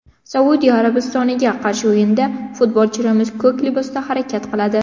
Saudiya Arabistoniga qarshi o‘yinda futbolchilarimiz ko‘k libosda harakat qiladi.